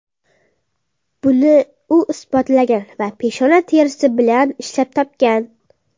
Buni u isbotlagan va peshona terisi bilan ishlab topgan.